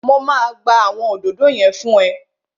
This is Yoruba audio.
Mo máa gbá àwọn òdòdó yẹn fún ẹ